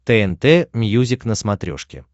тнт мьюзик на смотрешке